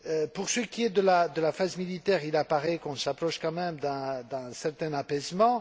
Pour ce qui est de la phase militaire, il apparaît qu'on s'approche quand même d'un certain apaisement.